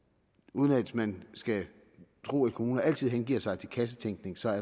uden at man skal tro at kommuner altid hengiver sig til kassetænkning så er